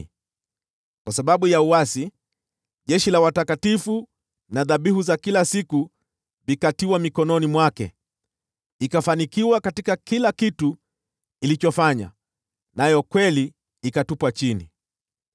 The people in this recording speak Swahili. Kwa sababu ya uasi, jeshi la watakatifu na dhabihu za kila siku vikatiwa mikononi mwake. Ikafanikiwa katika kila kitu ilichofanya, nayo kweli ikatupwa chini.